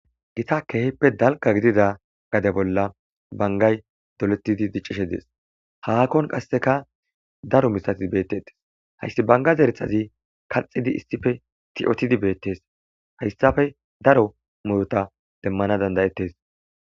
gita keehippe dalga gidida gade bolla bangay doletidi diccishe dees haakon qasseka daro mithatii bettetes hayssi bangaz erethazi kalxidi issife tiotidi beettes hayssafe daro murota demmana dandayettes